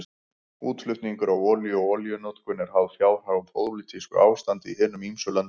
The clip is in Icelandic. Útflutningur á olíu og olíunotkun eru háð fjárhag og pólitísku ástandi í hinum ýmsu löndum.